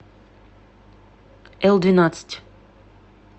элдвенадцать